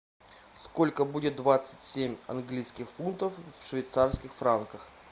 сколько будет двадцать семь английских фунтов в швейцарских франках